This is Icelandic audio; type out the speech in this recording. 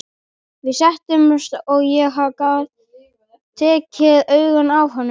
Við settumst og ég gat varla tekið augun af honum.